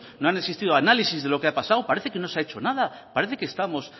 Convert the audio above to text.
no han existido análisis de lo que ha pasado parece que no se ha hecho nada parece que estamos